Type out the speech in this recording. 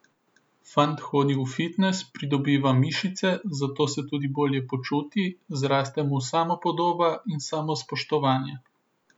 Fant hodi v fitnes, pridobiva mišice, zato se tudi bolje počuti, zraste mu samopodoba in samospoštovanje.